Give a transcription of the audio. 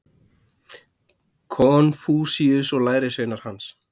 konfúsíus og lærisveinar hans